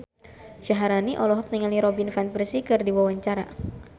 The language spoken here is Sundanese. Syaharani olohok ningali Robin Van Persie keur diwawancara